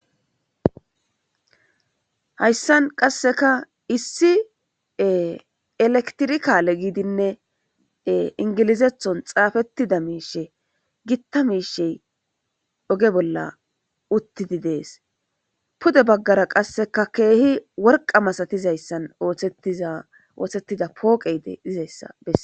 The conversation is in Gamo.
hayssan qasseka issie elektirikaale giidinne ingilizethon xaafettida miishe gitta miishe doge bolla uttidi dees pude baggara qasseka keehi worqa masatizayssan ooththettida pooqeyde izayssa besse